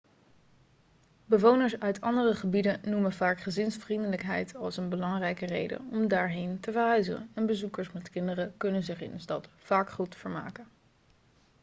bewoners uit andere gebieden noemen vaak gezinsvriendelijkheid als een belangrijke reden om daarheen te verhuizen en bezoekers met kinderen kunnen zich in de stad vaak goed vermaken